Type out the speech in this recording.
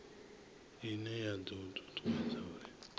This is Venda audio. ine ya do tutuwedza uri